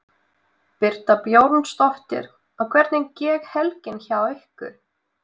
Birta Björnsdóttir: Og hvernig gekk helgin hjá ykkur?